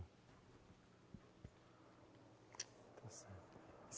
Está certo.